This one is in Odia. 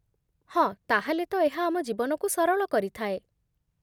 ହଁ, ତା'ହେଲେ ତ ଏହା ଆମ ଜୀବନକୁ ସରଳ କରିଥାଏ